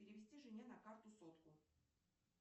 перевести жене на карту сотку